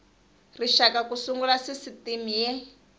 rixaka ku sungula sisitimi y